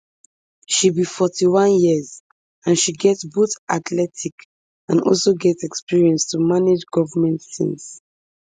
she be forty-one years and she get both athletic and also get experience to manage goment tins